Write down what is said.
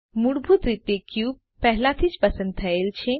મૂળભૂત રીતે ક્યુબ પહેલાથી જ પસંદ થયેલ છે